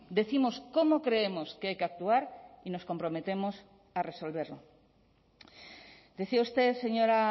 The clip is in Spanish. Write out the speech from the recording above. décimos cómo creemos que hay que actuar y nos comprometemos a resolverlo decía usted señora